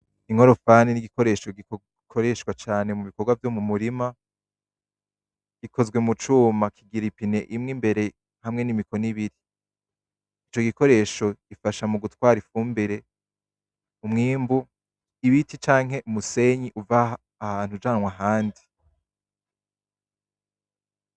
Inkorofani ni igikoresho gikoreshwa cane mu bikorwa vyo mu murima. Gikozwe mu cuma, kigira ipine imwe imbere hamwe n'imikono ibiri. Ico gikoresho gifasha mu gutwara ifumbire, umwimbu, ibiti canke umusenyi uva ahantu ujanwa ahandi.